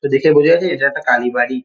তো দেখে বোঝা যাচ্ছে এটা একটা কালীবাড়ি ।